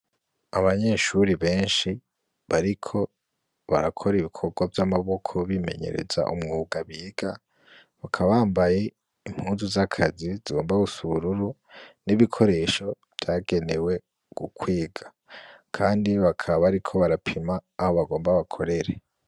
Abanyeshuri benshi bariko barakora ibikorwa vy'amaboko bimenyereza umwuga biga, bakaba bambaye impuzu z'akazi zigomba gusa ubururu, n'ibikoresho vyagenewe ukwiga, kandi bakaba bariko barapima aho bagomba bakorere.